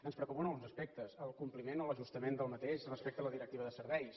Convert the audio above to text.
ens preocupen alguns aspectes el compliment o l’ajustament d’aquest respecte a la directiva de serveis